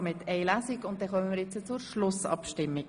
Somit kommen wir zur Schlussabstimmung.